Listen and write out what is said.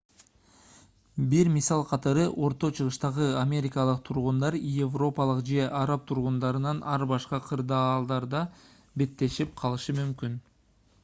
бир мисал катары орто-чыгыштагы америкалык тургундар европалык же араб тургундарынан ар башка кырдаалдарга беттешип калышы мүмкүн